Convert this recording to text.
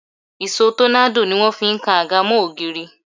Ìṣó tọ́nádò ni wọ́n fi ń kan áńgà mọ́ ògiri